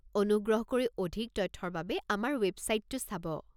অনুগ্ৰহ কৰি অধিক তথ্যৰ বাবে আমাৰ ৱেবচাইটটো চাব।